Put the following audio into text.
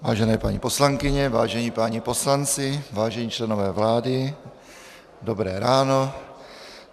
Vážené paní poslankyně, vážení páni poslanci, vážení členové vlády, dobré ráno.